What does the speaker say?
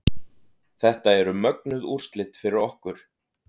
Þetta eru mögnuð úrslit fyrir okkur